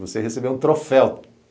Você receber um troféu.